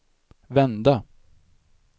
vända